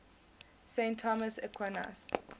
saint thomas aquinas